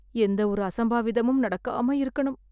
எந்தவொரு அசம்பாவிதமும் நடக்காம இருக்கணும்